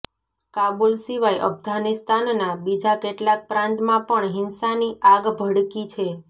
કાબુલ સિવાય અફઘાનિસ્તાનના બીજા કેટલાંક પ્રાંતમાં પણ હિંસાની આગ ભડકી છે